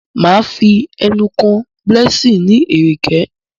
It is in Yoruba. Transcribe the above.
Má Fí enú kò Blessing ní Ẹ̀rẹ̀kẹ́.